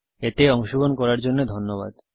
এতে অংশগ্রহন করার জন্য ধন্যবাদ